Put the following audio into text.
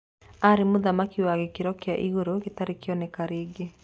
Ararĩ mũthaki wa gĩkĩro kĩa igũrũ gĩtarĩ kĩonekana rĩngĩ.